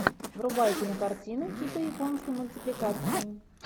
врубай кинокартину типа японской мультипликации